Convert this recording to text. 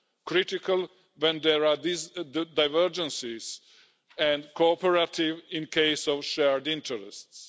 critical when there are these divergences and cooperative in case of shared interests.